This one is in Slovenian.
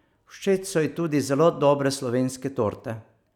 Všeč so ji tudi zelo dobre slovenske torte.